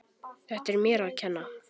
Þetta er mér að kenna.